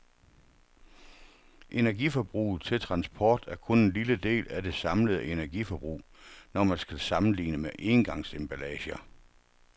Energiforbruget til transport er kun en lille del af det samlede energiforbrug, når man skal sammenligne engangsemballager.